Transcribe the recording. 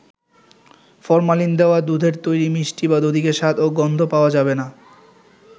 Formalin দেওয়া দুধের তৈরি মিষ্টি বা দধিতে স্বাদ ও গন্ধ পাওয়া যাবে না।